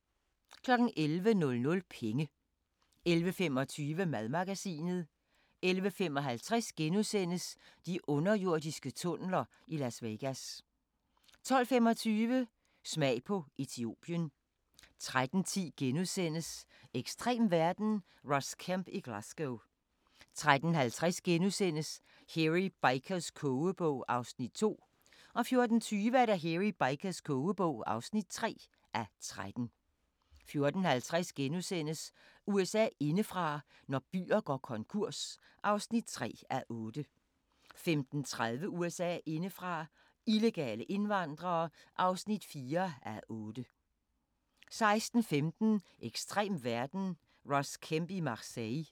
11:00: Penge 11:25: Madmagasinet 11:55: De underjordiske tunneler i Las Vegas * 12:25: Smag på Etiopien 13:10: Ekstrem verden - Ross Kemp i Glasgow * 13:50: Hairy Bikers kogebog (2:13)* 14:20: Hairy Bikers kogebog (3:13) 14:50: USA indefra: Når byer går konkurs (3:8)* 15:30: USA indefra: Illegale indvandrere (4:8) 16:15: Ekstrem verden – Ross Kemp i Marseille